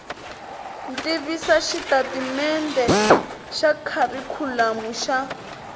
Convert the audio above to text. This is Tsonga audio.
tivisa xitatimendhe xa kharikhulamu xa